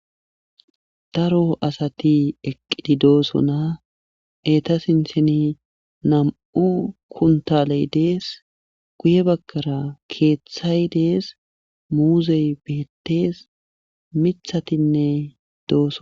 Daro asati eqqidi doosona eta sintheni nam7u kuntaley dees guye bakkara keeththay dees muuzey beettes mithatinne dooso.